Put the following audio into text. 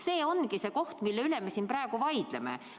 See ongi see, mille üle me praegu siin vaidleme.